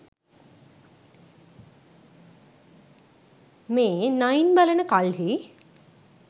මේ නයින් බලන කල්හි